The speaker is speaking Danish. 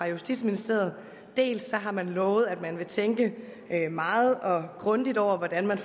justitsministeriet dels har man lovet at man vil tænke meget og grundigt over hvordan man